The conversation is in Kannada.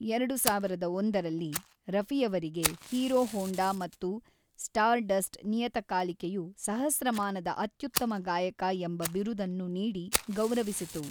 ಎರಡು ಸಾವಿರದ ಒಂದರಲ್ಲಿ, ರಫಿಯವರಿಗೆ ಹೀರೋ ಹೋಂಡಾ ಮತ್ತು ಸ್ಟಾರ್ಡಸ್ಟ್ ನಿಯತಕಾಲಿಕೆಯು 'ಸಹಸ್ರಮಾನದ ಅತ್ಯುತ್ತಮ ಗಾಯಕ' ಎಂಬ ಬಿರುದನ್ನು ನೀಡಿ ಗೌರವಿಸಿತು.